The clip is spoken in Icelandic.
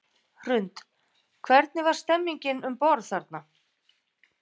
Hrund: Hvernig var stemmningin um borð þarna?